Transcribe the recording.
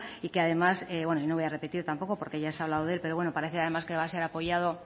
y que además no voy a repetir tampoco porque ya se ha hablado de él pero parece que va a ser apoyado